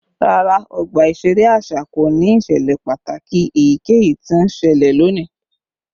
Rara, ọgba iṣere aṣa ko ni iṣẹlẹ pataki eyikeyi ti n ṣẹlẹ loni